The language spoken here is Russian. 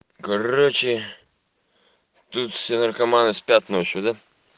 короче тут все наркоманы спят ночью да